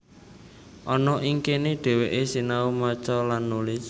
Ana ing kana dhèwèké sinau maca lan nulis